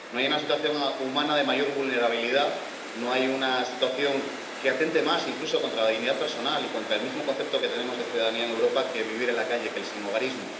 No hay una situación humana de mayor vulnerabilidad, no hay una situación que atente más, incluso, contra la dignidad personal y contra el mismo concepto que tenemos de ciudadanía en Europa que vivir en la calle, que el sinhogarismo.